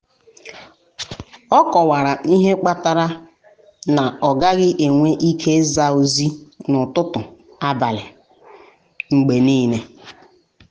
ọ kọwara ihe kpatara na ọ gaghị enwe ike ịza ozi n’ụtụtụ abalị um mgbe niile.